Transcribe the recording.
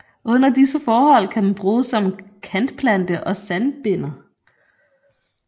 Under disse forhold kan den bruges som kantplante og sandbinder